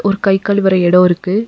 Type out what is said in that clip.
ஒரு கை கழுவற எடோ இருக்கு.